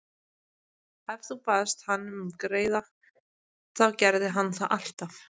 Ef þú baðst hann um greiða þá gerði hann það alltaf.